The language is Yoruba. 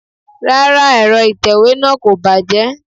Rárá, Ẹ̀rọ itewe náà kò bàjẹ́.